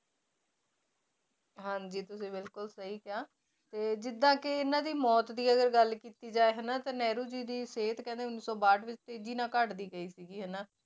ਹਾਂਜੀ ਤੁਸੀਂ ਬਿਲਕੁਲ ਸਹੀ ਕਿਹਾ ਤੇ ਜਿੱਦਾਂ ਕਿ ਇਹਨਾਂ ਦੀ ਮੌਤ ਦੀ ਅਗਰ ਗੱਲ ਕੀਤੀ ਜਾਏ ਹਨਾ ਤਾਂ ਨਹਿਰੂ ਜੀ ਦੀ ਸਿਹਤ ਕਹਿੰਦੇ ਉੱਨੀ ਸੌ ਬਾਹਠ ਵਿੱਚ ਤੇਜ਼ੀ ਨਾਲ ਘੱਟਦੀ ਗਈ ਸੀਗੀ ਹਨਾ।